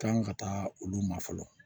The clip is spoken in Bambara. Kan ka taa olu ma fɔlɔ